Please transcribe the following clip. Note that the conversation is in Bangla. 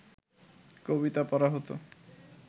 কবিতা পড়া হত